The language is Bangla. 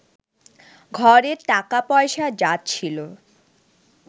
ঘরে টাকা-পয়সা যা ছিল